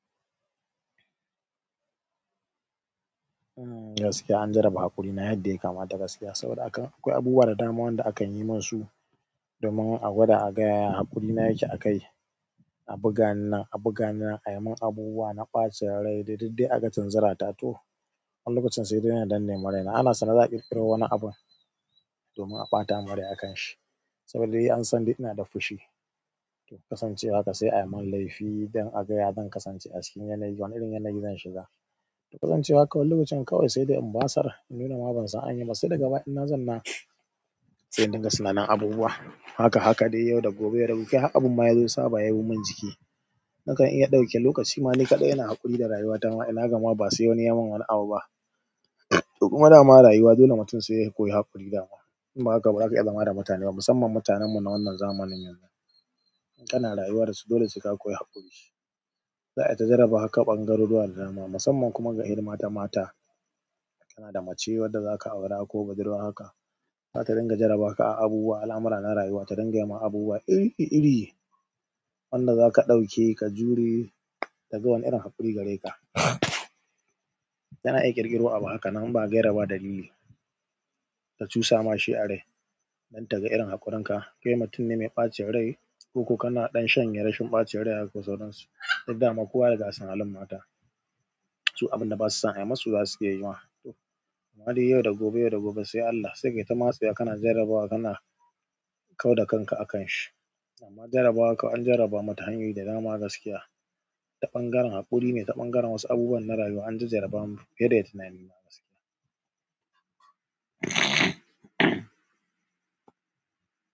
Gaskiya an jaraba hakurina yanda ya kamata gaskiya, saboda haka akwai abubuwan da dama da akan yi minsu domin agwada aga yaya hakurina yake akai a buga nan a buga nan ayimin abubuwa na ɓacin rai, duk dai aga tinzirana toh. Wani lokacin sai dai na danne ma raina, ana sane za'a ƙirƙiro wani abun domin a ɓata mun rai akanshi saboda dai an san dai ina da fushi. To kasancewa haka sai ayi min laifi don aga ya zan kasance acikin yanayi, wani irin yanayi zan shiga. Kasancewa kawai lokacin kawai sai dai in basar in nuna ma ban san anyiba, sai daga baya inna zauna sai in dinga tunanin abubuwa. Haka haka dai yau da gobe da haka har abun ma yazo saba yabi min jiki. Nakan iya ɗauke lokaci ma ni kaɗai ina haƙuri da rayuwata ma, ina gama ba sai wani yayi min wani abu ba. To kuma dama rayuwa dole mutum sai ya koyi haƙuri dama. Idan ba haka ba, baza ka iya zama da mutane ba musamman mutanen mu na wannan zamanin yanzu. Kana rayuwa dasu dole sai ka koyi haƙuri. Za'a iya ta jaraba haka ɓangaruruwa da dama musamman kuma ga irin mata mata tana da mace wadda zaka aura ko budurwa haka. Zata dinga jarabaka a abubuwa al'amura na rayuwa ta dinga yima abubuwa iri iri wanda zaka ɗauke ka jure, taga wani irin haƙuri gare ka. Tana iya ƙirƙiro abu hakanan ba gaira ba dalili. Ta cusa ma shi a rai don taga irin haƙurinka. Kai mutunne mai ɓacin rai, koko kana ɗan shanye rashin ɓacin rai haka ko sauransu, duk dama kowa ya riga ya san halin mata. Su abunda basu son ayi musu zasu iya yima. To amma dai yau da gobe yau da gobe sai Allah sai kai ta matse ka kana jarabawa kana kau da kanka akanshi. Amma jarabawa kam, an jarabamu ta hanyoyi da dama gaskiya. Ta ɓangaren haƙurine ta ɓangaren wasu abubuwa na rayuwa an jajjarabamu fiye da tunanina gaskiya.